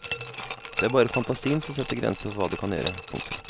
Det er bare fantasien som setter grenser for hva du kan gjøre. punktum